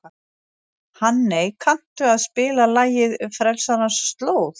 Hanney, kanntu að spila lagið „Frelsarans slóð“?